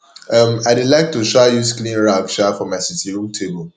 um i dey like to um use clean rag um for my sitting room table